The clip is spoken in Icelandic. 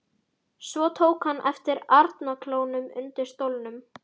Svo tók hann eftir arnarklónum undir stólnum.